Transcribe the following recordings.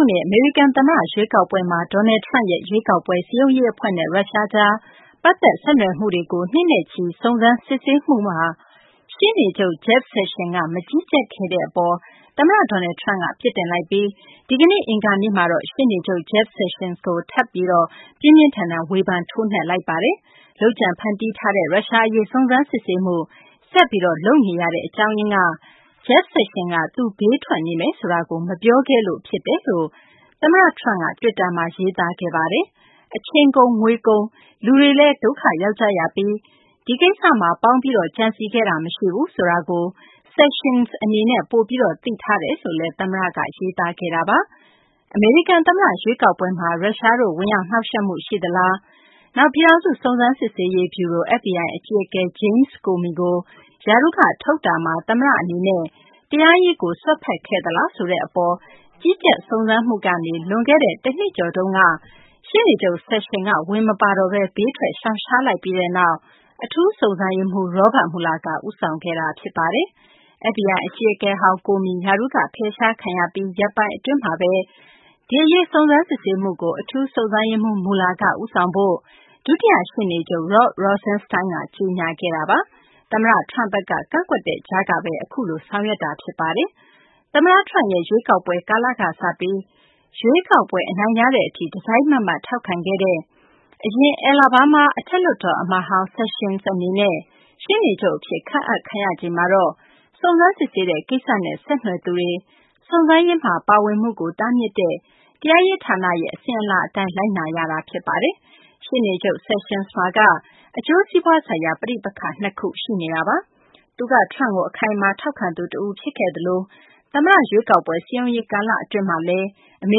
ုနှစ် အမေရိကန် သမ္မတ ရွေးကောက်ပွဲမှာ Donald Trump ရဲ့ ရွေးကောက်ပွဲ စည်းရုံးရေး အဖွဲ့နဲ့ ရုရှားကြား ပတ်သက် ဆက်နွယ်မှုတွေကို နှစ်နဲ့ချီ စုံစမ်းစစ်ဆေးမှုမှာ ရှေ့နေချုပ် Jeff Sessions က မကြီးကြပ်ခဲ့တဲ့ အပေါ် သမ္မတ Donald Trump က ပြစ်တင်လိုက်ပြီး ဒီကနေ့ အင်္ဂါနေ့မှာ ရှေ့နေချုပ် Jeff Sessions ကို ထပ်မံပြီး ပြင်းပြင်းထန်ထန် ဝေဖန် ထိုးနှက်လိုက်ပါတယ်။ လုပ်ကြံ ဖန်တီးထားတဲ့ ရုရှားအရေး စုံစမ်းစစ်ဆေးမှု ဆက်ပြီး လုပ်နေတဲ့ အကြောင်းရင်းကတော့ Jeff Sessions က သူ ဘေးထွက်နေမယ်ဆိုတာကို မပြောခဲ့လို့ ဖြစ်တယ်လို့ သမ္မတ Trump က တွစ်တာမှာ ရေးသားခဲ့တာပါ။ အချိန်ကုန် ငွေကုန်၊ လူတွေလည်း ဒုက္ခရောက်ကြရပြီး ဒီကိစ္စမှာ ပေါင်းပြီး ကြံစည်ခဲ့တာ မရှိဘူးဆိုတာကို Sessions အနေနဲ့ ပိုပြီး သိထားတယ်လို့လည်း သမ္မတက ရေးသားခဲ့တာပါ။ အမေရိကန် သမ္မတ ရွေးကောက်ပွဲမှာ ရုရှားတို့ ဝင်ရောက်နှောင့်ယှက်မှု ရှိသလား၊ နောက် ပြည်ထောင်စု စုံစမ်းစစ်ဆေးရေး ဗျူရို FBI အကြီးအကဲ James Comey ကို ရာထူးက ထုတ်တာမှာ သမ္မတ အနေနဲ့ တရားရေးပိုင်းကို စွက်ဖက်ခဲ့သလားဆိုတဲ့ အပေါ် ကြီးကြပ် စုံစမ်းမှုကနေ လွန်ခဲ့တဲ့ တနှစ်ကျော်တုန်းက ရှေ့နေချုပ် Sessions က ဝင်မပါတော့ဘဲ ဘေးထွက် ရှောင်ရှားလိုက်ပြီးနောက် အထူးစုံစမ်းရေးမှူး Robert Mueller က ဦးဆောင်ခဲ့တာ ဖြစ်ပါတယ်။ FBI အကြီးအကဲဟောင်း Comey ရာထူးက ဖယ်ရှားခံရပြီး ရက်ပိုင်း အတွင်းမှာဘဲ ဒီအရေး စုံစမ်းစစ်ဆေးမှုကို အထူးစုံစမ်းရေးမှူး Mueller က ဦးဆောင်ဖို့ ဒုတိယ ရှေ့နေချုပ် Rod Rosenstein က ကြေညာခဲ့တာပါ။ သမ္မတ Trump ဘက်က ကန့်ကွက်တဲ့ ကြားကဘဲ အခုလို ဆောင်ရွက်ခဲ့တာပါ။ သမ္မတ Trump ရဲ့ ရွေးကောက်ပွဲ ကာလကစပြီး ရွေးကောက်ပွဲ အနိုင်ရတဲ့ အထိ တစိုက်မတ်မတ် ထောက်ခံခဲ့တဲ့ အရင် Alabama အထက်လွှတ်တော် အမတ်ဟောင်း Sessions အနေနဲ့ ရှေ့နေချုပ် အဖြစ် ခန့်အပ်ခံရချိန်မှာတော့ စုံစမ်းစစ်ဆေးတဲ့ ကိစ္စနဲ့ ဆက်နွယ်သူတွေ စုံစမ်းရေးမှာ ပါဝင်မှုကို တားမြစ်တဲ့ တရားရေး ဌာနရဲ့ အစဉ်အလာ အတိုင်း လိုက်နာရတာ ဖြစ်ပါတယ်။ ရှေ့နေချုပ် Sessions မှာက အကျိုးစီးပွားဆိုင်ရာ ပဋိပက္ခ ၂ ခု ရှိနေတာပါ။ သူက Trump ကို အခိုင်အမာ ထောက်ခံသူ တဦး ဖြစ်ခဲ့သလို သမ္မတ ရွေးကောက်ပွဲ စည်းရုံးရေး ကာလ အတွင်းမှာလည်း အမေ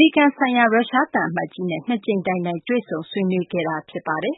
ရိကန် ဆိုင်ရာ ရုရှား သံအမတ်ကြီးနဲ့ ၂ ကြိမ်တိုင်တိုင် တွေ့ဆုံ ဆွေးနွေးခဲ့သူ ဖြစ်ပါတယ်